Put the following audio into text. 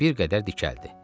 Bir qədər dikəldi.